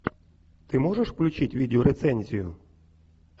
ты можешь включить видео рецензию